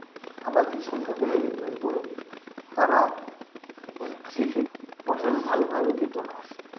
আবাদির সংখ্যা কমে যেত এবং তারা সেক্ষেত্রে ফসল ভালোভাবে পেতো না,